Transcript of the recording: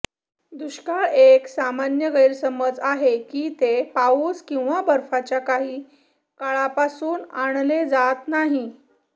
दुष्काळ एक सामान्य गैरसमज आहे की ते पाऊस किंवा बर्फाच्या काही काळापासून आणले जात नाहीत